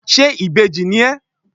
ṣe ìbejí ní ẹ